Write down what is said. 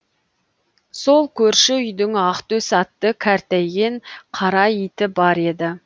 сол көрші үйдің ақтөс атты кәртейген қара иті бар еді